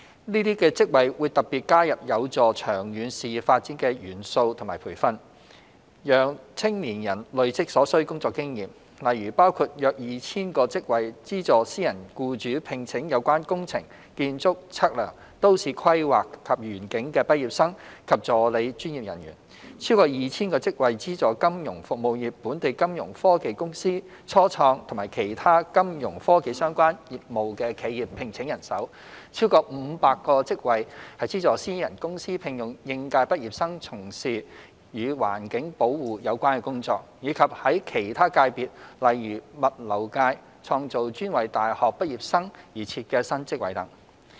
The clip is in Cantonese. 這些職位會特別加入有助長遠事業發展的元素或培訓，讓青年人累積所需工作經驗，例如包括約 2,000 個職位資助私人僱主聘請有關工程、建築、測量、都市規劃及園境的畢業生及助理專業人員；超過 2,000 個職位資助金融服務業、本地金融科技公司、初創及其他有金融科技相關業務的企業聘請人手；超過500個職位資助私人公司聘用應屆畢業生從事與環境保護有關的工作；以及在其他界別例如物流界創造專為大學畢業生而設的新職位等。